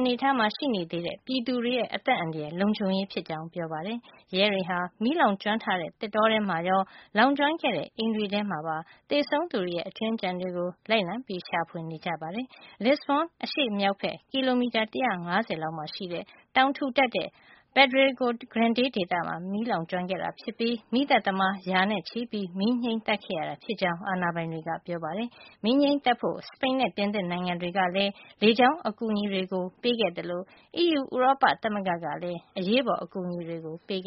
အနေထားမှာ ရှိနေသေးတဲ့ ပြည်သူတွေရဲ့ အသက် အန္တရာယ် လုံခြုံရေး ဖြစ်ကြောင်း ပြောပါတယ်။ ရဲတွေဟာ မီးလောင်ကျွမ်းထားတဲ့ သစ်တောထဲမှာရော လောင်ကျွမ်းခဲ့တဲ့ အိမ်တွေမှာပါ သေဆုံးသူတွေရဲ့ အကြွင်းအကျန်တွေကို လိုက်လံ ရှာဖွေနေတာ ဖြစ်ပါတယ်။ Lisbon အရှေ့မြောက်ဘက် ကီလိုမီတာ ၁၅၀ လောက်က တောင်ထူထပ်တဲ့ Pedrogao Grande ဒေသမှာ မီးလောင်ကျွမ်းခဲ့တာ ဖြစ်ပြီး မီးသတ်သမား ရာနဲ့ ချီပြီး မီးငြှိမ်းသတ်ခဲ့ရတာ ဖြစ်ကြောင်း အာဏာပိုင်တွေက ပြောပါတယ်။ မီးငြှိမ်းသတ်ဖို့ စပိန်နဲ့ ပြင်သစ်နိုင်ငံတွေကလည်း လေကြောင်း အကူအညီတွေ ပေးခဲ့သလို အီးယူ ဥရောပ သမဂ္ဂ ကလည်း အရေးပေါ် အကူအညီတွေ ပေးခဲ့